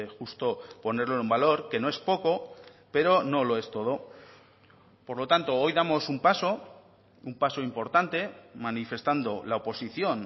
justo ponerlo en valor que no es poco pero no lo es todo por lo tanto hoy damos un paso un paso importante manifestando la oposición